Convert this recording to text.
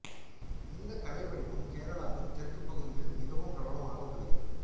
இந்த கலை வடிவம் கேரளாவின் தெற்குப் பகுதிகளில் மிகவும் பிரபலமாக உள்ளது